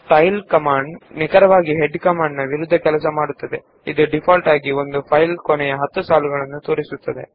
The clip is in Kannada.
ಟೈಲ್ ಕಮಾಂಡ್ ಹೆಡ್ ಕಮಾಂಡ್ ಗೆ ಅತ್ಯಂತ ವಿರುದ್ದವಾಗಿದ್ದು ಅದು ಡೀಫಾಲ್ಟ್ ಆಗಿ ಫೈಲ್ ನ ಕೊನೆಯ 10 ಸಾಲುಗಳನ್ನು ತೋರಿಸುತ್ತದೆ